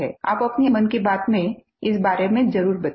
आप अपनी मन की बात में इस बारे में ज़रूर बताएँ